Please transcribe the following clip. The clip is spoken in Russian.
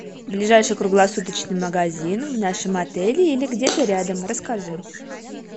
ближайший круглосуточный магазин в нашем отеле или где то рядом расскажи